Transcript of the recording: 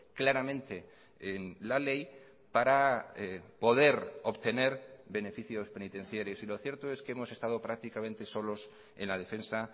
claramente en la ley para poder obtener beneficios penitenciarios y lo cierto es que hemos estado prácticamente solos en la defensa